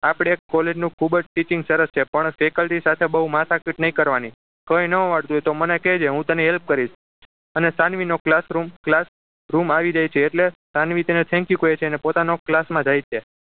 આપડે college નું ખૂબ જ teaching ખુબ જ સરસ છે પણ faculty સાથે બહુ માથાકૂટ નહીં કરવાની કોઈ ન આવડતું હોય તો મને કહેજે હું તને help કરીશ અને સાનવી નો classroom classroom આવી રહ્યો છે એટલે સાનવી તેને thank you કહે છે અને પોતા નો class માં જાય છે